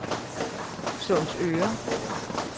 Sundsøre